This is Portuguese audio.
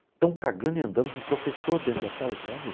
Estão cagando e andando para o professor dentro da sala de aula.